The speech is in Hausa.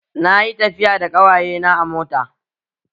Na yi tafiya da ƙawaye na a mota